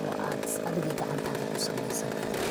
oo aad adiga gacantaada kusameysankarto.